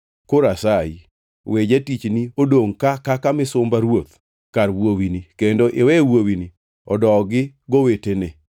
“Koro asayi, we jatichni odongʼ ka kaka misumba ruoth kar wuowini kendo iwe wuowini odogi gowetene.